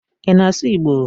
I na asụ Igbo?